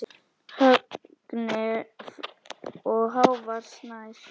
Högni Freyr og Hávar Snær.